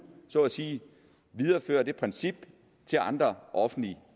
så at sige viderefører det princip til andre offentligt